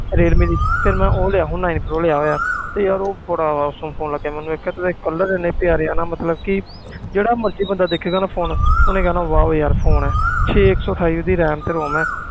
Realme ਦੀ ਫਿਰ ਮੈਂ ਉਹ ਲਿਆ ਹੁਣ nine pro ਲਿਆ ਹੋਇਆ ਤੇ ਯਾਰ ਉਹ ਬੜਾ awesome phone ਲੱਗਿਆ ਮੈਨੂੰ ਇੱਕ ਤਾਂ ਇਹਦੇ colour ਇੰਨੇ ਪਿਆਰੇ ਆ ਨਾ ਮਤਲਬ ਕਿ ਜਿਹੜਾ ਮਰਜ਼ੀ ਬੰਦਾ ਦੇਖੇਗਾ ਨਾ phone ਉਹਨੇ ਕਹਿਣਾ wow ਯਾਰ phone ਹੈ ਛੇ ਇੱਕ ਸੌ ਅਠਾਈ ਇਹਦੀ RAM ਤੇ ROM ਹੈ